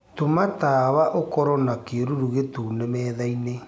tuma tawaũkorwo na kiiruru gitune methaĩnĩ